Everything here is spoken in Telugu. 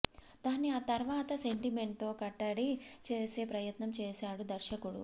దాన్ని ఆ తర్వాత సెంటిమెంట్తో కట్టడి చేసే ప్రయత్నం చేశాడు దర్శకుడు